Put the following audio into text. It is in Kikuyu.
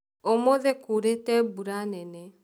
Ũmũthĩ kũrĩte mbura nene